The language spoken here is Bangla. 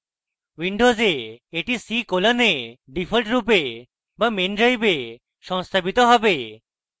windows এ এটি c colon ডিফল্টরূপে be main drive সংস্থাপিত হবে